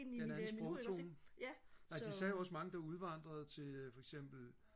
det er en anden sprogtone ja de sagde også at der var mange der udvandrede til foreksempel